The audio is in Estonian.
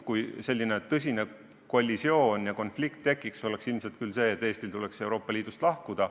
Kui tekiks tõsine kollisioon ja konflikt, siis tagajärg oleks ilmselt see, et Eestil tuleks Euroopa Liidust lahkuda.